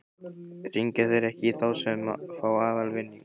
Hringja þeir ekki í þá sem fá aðalvinning?